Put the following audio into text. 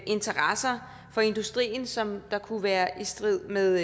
interesser for industrien som kunne være i strid med